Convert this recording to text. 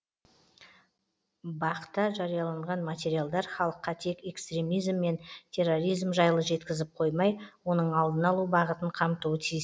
бақ та жарияланған материалдар халыққа тек экстремизм мен терроризм жайлы жеткізіп қоймай оның алдын алу бағытын қамтуы тиіс